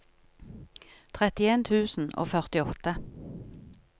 trettien tusen og førtiåtte